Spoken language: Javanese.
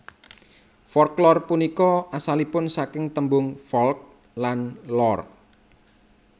Folklor punika asalipun saking tembung folk lan lore